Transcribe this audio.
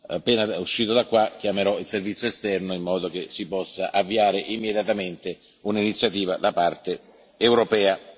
Appena uscito dall'Aula chiamerò il Servizio esterno in modo che si possa avviare immediatamente un'iniziativa da parte europea.